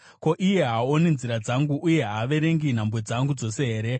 Ko, iye haaoni nzira dzangu uye haaverengi nhambwe dzangu dzose here?